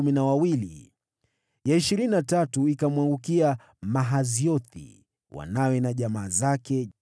ya ishirini na tatu ikamwangukia Mahaziothi, wanawe na jamaa zake, 12